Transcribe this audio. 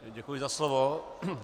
Děkuji za slovo.